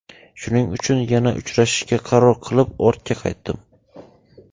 Shuning uchun yana uchrashishga qaror qilib, ortga qaytdim.